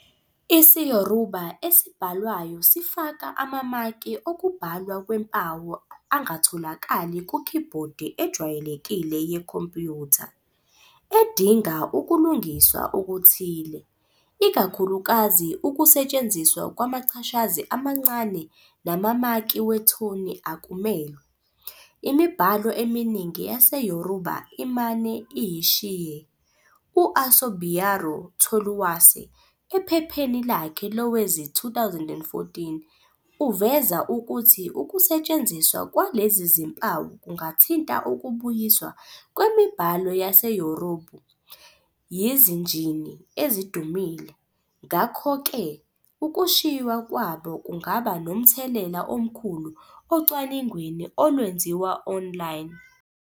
IsiYoruba esibhalwayo sifaka amamaki okubhalwa kwempawu angatholakali kukhibhodi ejwayelekile yekhompyutha, edinga ukulungiswa okuthile. Ikakhulukazi, ukusetshenziswa kwamachashazi amancane namamaki wethoni akumelwe, imibhalo eminingi yaseYoruba imane iyishiye. U-Asubiaro Toluwase, ephepheni lakhe lowezi-2014, uveza ukuthi ukusetshenziswa kwalezi zimpawu kungathinta ukubuyiswa kwemibhalo yaseYoruba yizinjini ezidumile. Ngakho-ke, ukushiywa kwabo kungaba nomthelela omkhulu ocwaningweni olwenziwa online.